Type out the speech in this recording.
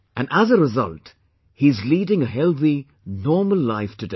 And as a result, he is leading a healthy, normal life today